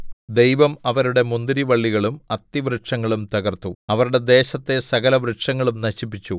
ദൈവം അവരുടെ മുന്തിരിവള്ളികളും അത്തിവൃക്ഷങ്ങളും തകർത്തു അവരുടെ ദേശത്തെ സകലവൃക്ഷങ്ങളും നശിപ്പിച്ചു